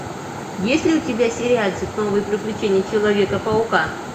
есть ли у тебя сериальчик новые приключения человека паука